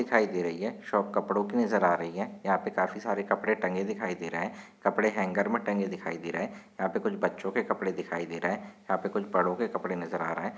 दिखाई दे रही है शॉप कपड़ों की नजर आ रही है यहाँ पे काफी सारे कपड़े टंगे दिखाई दे रहे है कपड़े हँगर मे टंगे दिखाई दे रहे है यहाँ पे कुछ बच्चों के कपड़े दिखाई दे रहे है यहाँ पे कुछ बड़ो के कपड़े नजर आ रहे है।